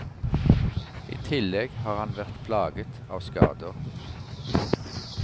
I tillegg har han vært plaget av skader.